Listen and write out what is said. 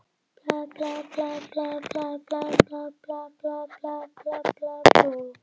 Eitt af því sem ég sá fyrir var að Alma mundi bráðlega eignast dóttur.